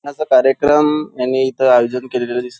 लग्नाचा कार्यक्रम यांनी इथे आयोजन केलेल दिस--